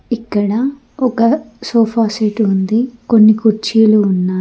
ఇక్కడ ఒక sofa set ఉంది కొన్ని కుర్చీలు ఉన్నాయి.